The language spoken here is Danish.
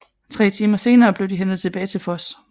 Tre timer senere blev de hentet tilbage til Voss